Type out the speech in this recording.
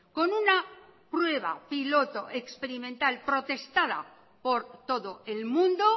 con una prueba piloto experimental protestada por todo el mundo